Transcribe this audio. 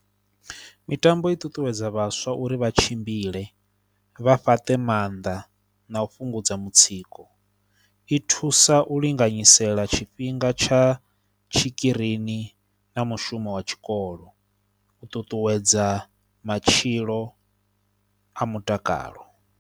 Mitambo i ṱuṱuwedza vhaswa uri vha tshimbile, vha fhaṱe maanḓa na u fhungudza mutsiko. I thusa u linganyisa fhela tshifhinga tsha tshikirini na mushumo wa tshikolo, u ṱuṱuwedza matshilo a mutakalo.